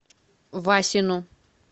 васину